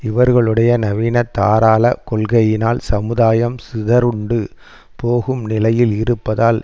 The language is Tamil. இவர்களுடைய நவீனதாராள கொள்கையினால் சமுதாயம் சிதறுண்டு போகும் நிலையில் இருப்பதால்